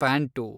pant